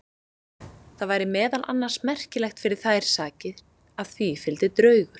Það væri meðal annars merkilegt fyrir þær sakir að því fylgdi draugur.